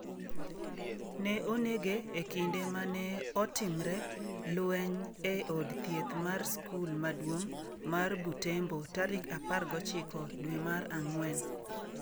Ne onege e kinde ma ne otimre lweny e od thieth mar skul maduong’ mar Butembo tarik 19 dwe mar ang’wen.